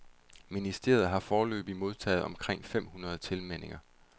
Ministeriet har foreløbigt modtaget omkring fem hundrede tilmeldinger.